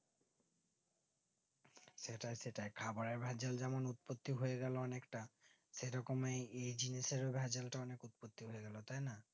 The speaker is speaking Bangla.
সেটাই সেটাই খাবারের ভাগ্যে যেমন উৎপত্তি হয়ে গেলো অনেকটা সেরকমই এই জিনিসেরও ভেজালটা অনিক উৎপত্তি হয়েগেলো তাই না